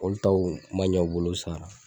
Olu taw ma ɲa u bolo sa